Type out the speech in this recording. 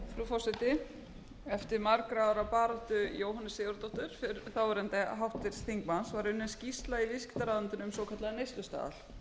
forseti eftir margra ára baráttu jóhönnu sigurðardóttur þáverandi háttvirts þingmanns var unnin skýrsla í viðskiptaráðuneytinu um svokallaðan neyslustaðal neyslustaðall